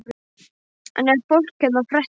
En ef fólk hérna fréttir af þessu.